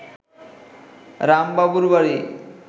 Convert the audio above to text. রাম বাবুর বাড়ি